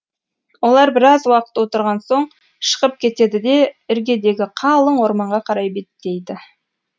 олар біраз уақыт отырған соң шығып кетеді де іргедегі қалың орманға қарай беттейді